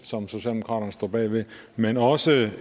som socialdemokraterne står bag men også